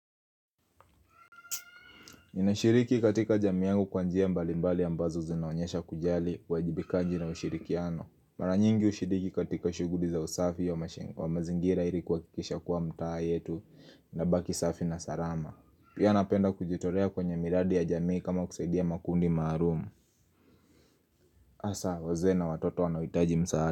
Ninashiriki katika jamii yangu kwa njia mbali mbali ambazo zinaonyesha kujali, uwajibikaji na ushirikiano. Mara nyingi ushiriki katika shuguli za usafi ya mazingira ili kuhakikisha kuwa mtaa yetu inabaki safi na salama. Pia napenda kujitolea kwenye miradi ya jamii kama kusaidia makundi maalumu. Hasa, wazee a watoto wanaohitaji msaada.